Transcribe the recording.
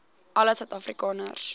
alle suid afrikaners